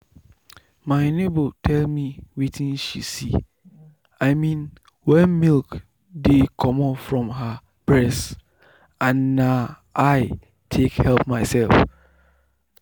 my neighbour tell me wetin she see i mean wen milk dey comot from her breast and na i take help myself.